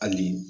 Hali bi